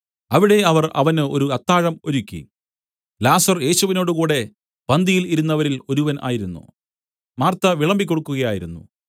അവിടെ അവർ അവന് ഒരു അത്താഴം ഒരുക്കി ലാസർ യേശുവിനോടുകൂടെ പന്തിയിൽ ഇരുന്നവരിൽ ഒരുവൻ ആയിരുന്നു മാർത്ത വിളമ്പി കൊടുക്കുകയായിരുന്നു